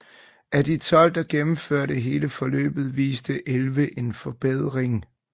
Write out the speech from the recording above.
Af de 12 der gennemførte hele forløbet viste 11 en forbedring